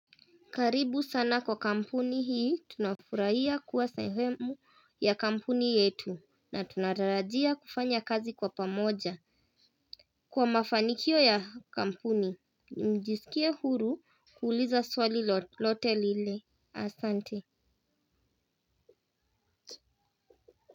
Karibu sana kwa kampuni hii, tunafurahia kuwa sehemu ya kampuni yetu na tunatarajia kufanya kazi kwa pamoja. Kwa mafanikio ya kampuni, mjisikie huru kuuliza swali lolote lile, asante.